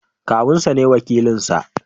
Kawun sa ne wakilin nasa.